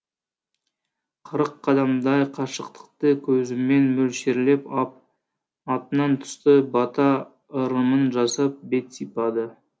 қырық қадамдай қашықтықты көзімен мөлшерлеп ап атынан түсті бата ырымын жасап бет сипады